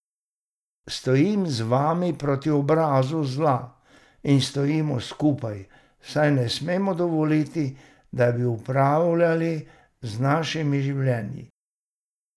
Stojim z vami proti obrazu zla in stojimo skupaj, saj ne smemo dovoliti, da bi upravljali z našimi življenji!